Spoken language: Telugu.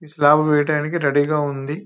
ఇది స్లాబులు వేయటానికి రెడీ గా ఉంది.